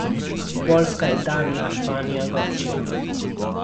Poljska, Italija, Španija, Grčija ...